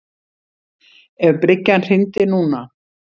Ef bryggjan hryndi núna.